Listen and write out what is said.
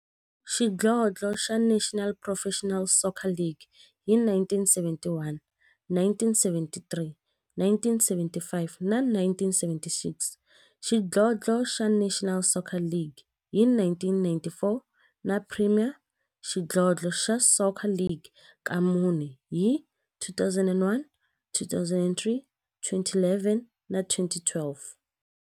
Xidlodlo xa National Professional Soccer League hi 1971, 1973, 1975 na 1976, xidlodlo xa National Soccer League hi 1994, na Premier Xidlodlo xa Soccer League ka mune, hi 2001, 2003, 2011 na 2012.